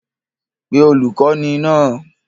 Pe olùkọ́ní náà!